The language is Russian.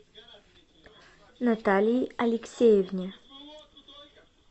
наталии алексеевне